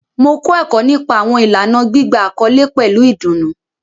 Mo kọ ẹkọ nipa awọn ilana gbigba akọle pẹlu idunnu